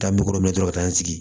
Taa min kɔrɔ dɔrɔn ka taa n sigi